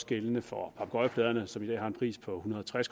gældende for papegøjepladerne som i dag har en pris på en hundrede og tres